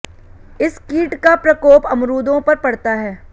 इस कीट का प्रकोप अमरूदों पर पड़ता है